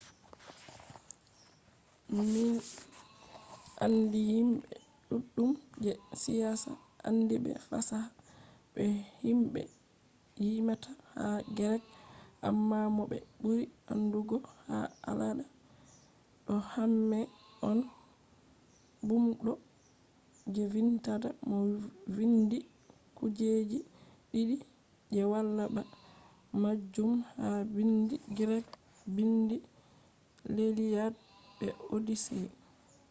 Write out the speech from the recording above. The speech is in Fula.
min andi himbe duddum je siyasa andiibe fasaha be himbe yimata ha greek. amma mo be buri andugo ha alada do homer on bumdo je vindata mo vindi kujeji didi je wala ba majum ha biindi greek: biindi lliad be odyssey